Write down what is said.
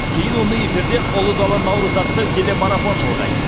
кейін оны эфирде ұлы дала наурызы атты телемарафон жалғайды